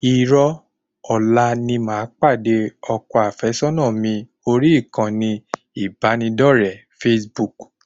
Irọ́, ọ̀la ni màá pàdé ọkọ àfẹ́sọ́nà mi orí ìkànnì ìbánidọre facebook